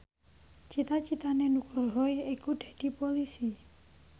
cita citane Nugroho yaiku dadi Polisi